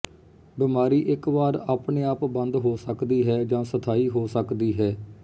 ਬਿਮਾਰੀ ਇੱਕ ਵਾਰ ਆਪਣੇ ਆਪ ਬੰਦ ਹੋ ਸਕਦੀ ਹੈ ਜਾਂ ਸਥਾਈ ਹੋ ਸਕਦੀ ਹੈ